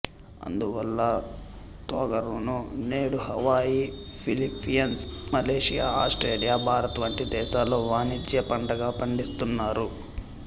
అందువల్ల తొగరును నేడు Hawaii Philippines Malaysia Australia Bharat వంటి దేశాల్లో వాణిజ్య పంటగా పండిస్తున్నారు